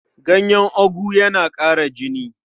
Ganyen ogu yana ƙara jini.